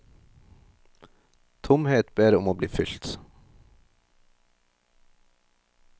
Tomhet ber om å bli fylt.